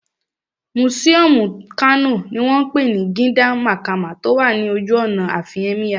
Mùsíọ̀mù Kano ní wọ́n pè ní Gidan Makama tó wà ní ojú ọ̀nà àfin Ẹ́míyà